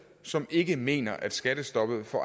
som ikke mener at skattestoppet for